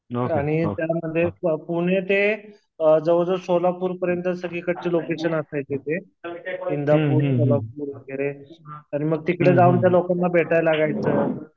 आणि पुणे ते अ जवळ जवळ सोलापूर पर्यंतचं सगळीकडचे लोकेशन असायचे ते इंदापूर, सोलापूर वगैरे. मग तिकडे जाऊन त्या लोकांना भेटायला लागायचं.